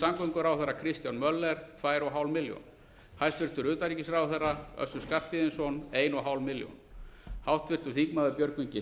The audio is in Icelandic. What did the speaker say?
samgönguráðherra kristján möller tvær og hálf milljón hæstvirts utanríkisráðherra össur skarphéðinsson til ein og hálf milljón háttvirtir þingmenn björgvin g